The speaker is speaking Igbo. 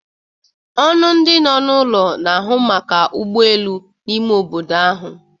Ọnụ ndi no n'ụlọ na-ahụ maka ụgbọ elu n'ime obodo ahụ.